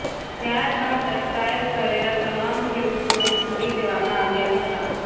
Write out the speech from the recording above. ત્યારબાદ અટકાયત કરેલા તમામ ખેડૂતોને છોડી દેવામાં આવ્યા હતાં